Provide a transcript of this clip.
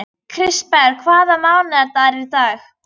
Kristberg, hvaða mánaðardagur er í dag?